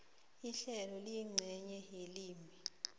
ihlelo liyincenye yelimi